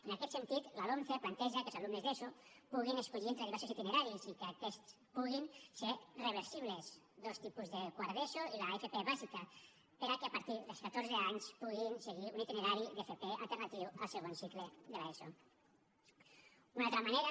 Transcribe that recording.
en aquest sentit la lomce planteja que els alumnes d’eso puguin escollir entre diversos itineraris i que aquests puguin ser reversibles dos tipus de quart d’eso i l’fp bàsica perquè a partir dels catorze anys puguin seguir un itinerari d’fp alternatiu al segon cicle de l’eso